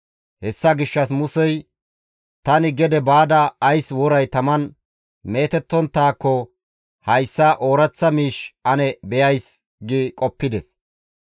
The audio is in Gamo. Hessa gishshas Musey, «Tani gede baada ays woray taman meetettonttaako hayssa ooraththa miish ane beyays» gi qoppides.